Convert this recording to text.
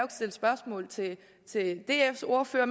stille spørgsmål til dfs ordfører